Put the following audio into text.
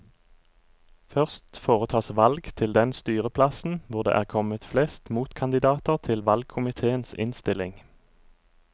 Først foretas valg til den styreplassen hvor det er kommet flest motkandidater til valgkomiteens innstilling.